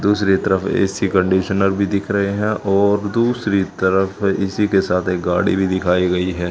दूसरी तरफ A C conditioner भीं दिख रहें हैं और दूसरी तरफ इसी के साथ एक गाड़ी भीं दिखाई गई हैं।